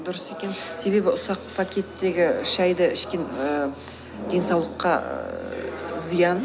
дұрыс екен себебі ұсақ пакеттегі шайді ішкен ііі денсаулыққа зиян